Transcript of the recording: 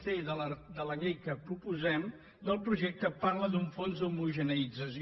c de la llei que proposem del projecte parla d’un fons d’homogeneïtzació